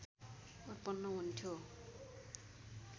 उत्पन्न हुन्थ्यो